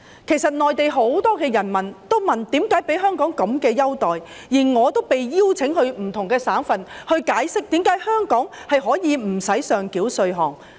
事實上，內地很多人民也會問香港何以享有這種優待，而我也曾獲邀到不同省份解釋香港何以無需上繳稅項。